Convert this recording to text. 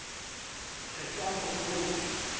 re e ka mo loma